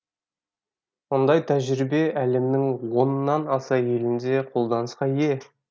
мұндай тәжірибе әлемнің оннан аса елінде қолданысқа ие